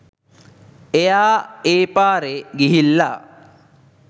එයා ඒ පාරේ ගිහිල්ලා